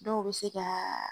Dɔw bɛ se ka